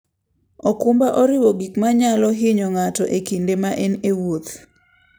okumba oriwo gik manyalo hinyo ng'ato e kinde ma en e wuoth.